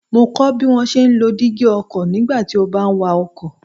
Mo kọ́ ọ bí wón ṣe ń lo dígí ọkọ̀ nígbà tí ó bá ń wa ọkọ̀.